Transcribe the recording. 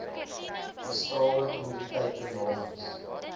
bestraalde kommoditeite namens